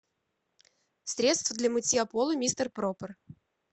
средство для мытья пола мистер проппер